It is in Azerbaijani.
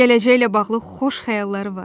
Gələcəklə bağlı xoş xəyalları var.